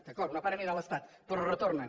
d’acord una part anirà a l’estat però es retornen